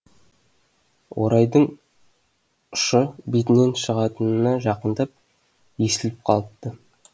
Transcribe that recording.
орайдың ұшы бетінің шығытына жақындап есіліп қалыпты